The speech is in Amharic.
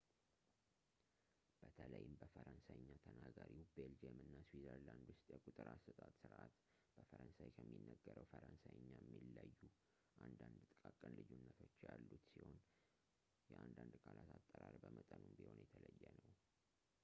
በተለይም በፈረንሳይኛ ተናጋሪው ቤልጂየም እና ስዊዘርላንድ ውስጥ የቁጥር አሰጣጥ ስርዓት በፈረንሣይ ከሚነገረው ፈረንሳይኛ የሚለዩ አንዳንድ ጥቃቅን ልዩነቶች ያሉት ሲሆን የአንዳንድ ቃላት አጠራር በመጠኑም ቢሆን የተለየ ነው